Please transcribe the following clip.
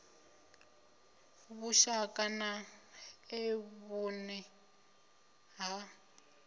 vhushaka na e vhune ha